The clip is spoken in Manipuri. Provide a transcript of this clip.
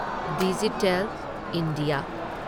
digital India